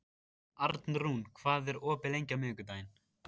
Arnrún, hvað er opið lengi á miðvikudaginn?